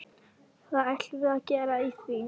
Hvað ætlum við að gera í því?